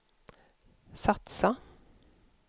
satsa